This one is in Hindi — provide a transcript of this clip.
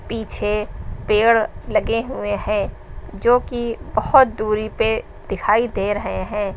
पीछे पेड़ लगे हुए हैं जो की बहोत दूरी पे दिखाई दे रहे हैं।